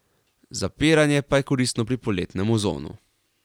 Zapiranje pa je koristno pri poletnem ozonu.